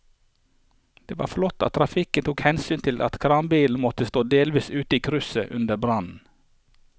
Det var flott at trafikken tok hensyn til at kranbilen måtte stå delvis ute i krysset under brannen.